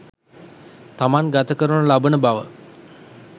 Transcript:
තමන් ගත කරනු ලබන බව